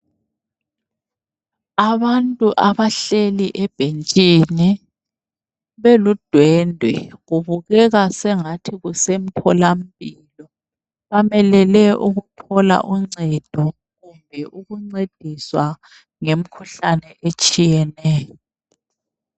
Abantu abahleli ebhentshini beludwende kubukeka sengathi kusemtholampilo, bamelele ukuthola uncedo kumbe ukuncediswa ngemkhuhlane etshiyeneyo.